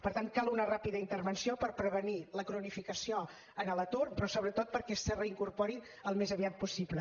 per tant cal una ràpida intervenció per prevenir la cronificació en l’atur però sobretot perquè es reincorporin al més aviat possible